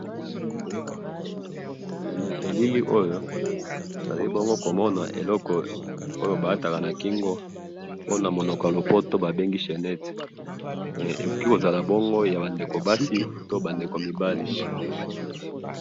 na elili oyo nalibongo komona eloko oyo balataka nakingo ponamonoko yapoto bangi chenette eh kokikazala bingo yabandeko basi pe yabandeko mobali